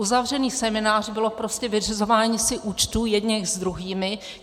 Uzavřený seminář bylo prostě vyřizování si účtů jedněch s druhými.